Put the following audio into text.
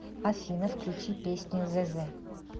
афина включи песню зэзэ